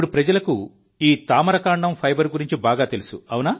ఇప్పుడు ప్రజలకు ఈ తామర కాండం ఫైబర్ గురించి బాగా తెలుసు